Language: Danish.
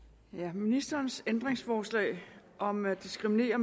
ministerens ændringsforslag om at diskriminere